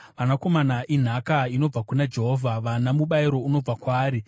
Vanakomana inhaka inobva kuna Jehovha, vana mubayiro unobva kwaari.